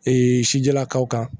sijalakaw kan